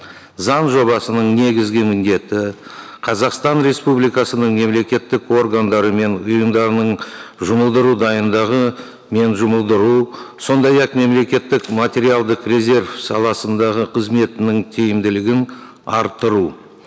заң жобасының негізгі міндеті қазақстан республикасының мемлекеттік органдары мен ұйымдарының жұмылдыру дайындығы мен жұмылдыру сондай ақ мемлекеттік материалдық резерв саласындағы қызметінің тиімділігін арттыру